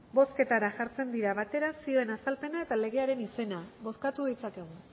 bozketara jartzen dira batera zioen azalpena eta legearen izena bozkatu ditzakegu